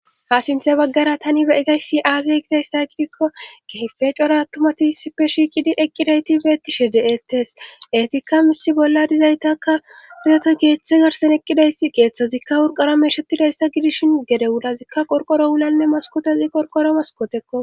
ha sinthe baggara tani beyizayssi aaze gizayssa gidikko keyfe cora attumatisippe shiiqidi eqqidayti beettishe de7ettes eetikka misi bolla dizaytaka siyete geeththe garson eqqidaysi geeththazikka wurqara meshetidayssa gidishin gede wudazikka qorqoro wulanne maskotozi qorqoro maskotekko